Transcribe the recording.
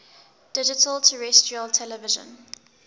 digital terrestrial television